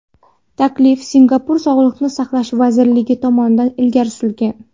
Taklif Singapur Sog‘liqni saqlash vazirligi tomonidan ilgari surilgan.